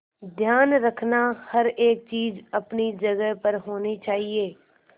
ध्यान रखना हर एक चीज अपनी जगह पर होनी चाहिए